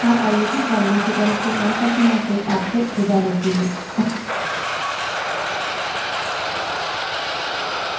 अधिक जानकारी दिए गए link पर उपलब्ध है